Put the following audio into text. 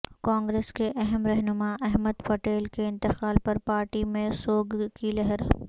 کانگریس کے اہم رہنمااحمدپٹیل کے انتقال پر پارٹی میں سوگ کی لہر